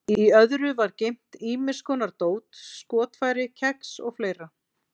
Í öðru var geymt ýmis konar dót, skotfæri, kex og fleira.